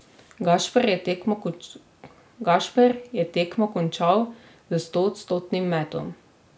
Gašper je tekmo končal s stoodstotnim metom.